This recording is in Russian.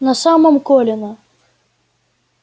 на самом колина